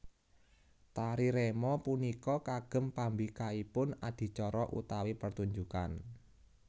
Tari remo punika kagem pambikaipun adicara utawi pertunjukan